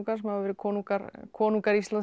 sem hafa verið konungar konungar Íslands í